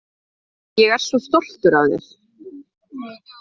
Ég er svo stoltur af þér.